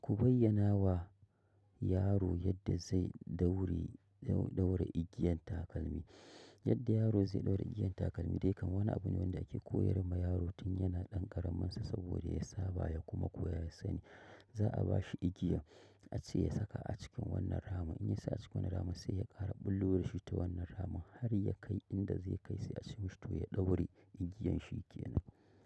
Ku bayyana wa yaro yadda zai ɗauri, ɗau, ɗauri igiyan takalmi. Yadda yaro zai ɗaura igiyan takalmi dai kama wani abu ne wanda ake koyar ma yaro tun yana ɗan ƙaramin sa saboda ya saba ya kuma koya ya sani. Za'a bashi igiya a ce ya saka a cikin wannan ramin. In ya sa a cikin wannan ramin sai ya ƙara bullo da shi ta wannan ramin har ya kai inda zai kai sai a ce ma shi toh ya ɗaure igiyan shi ke nan.